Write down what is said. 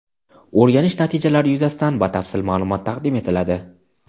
O‘rganish natijalari yuzasidan batafsil ma’lumot taqdim etiladi.